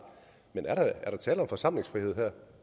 men er der tale om forsamlingsfrihed her